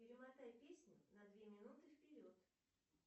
перемотай песню на две минуты вперед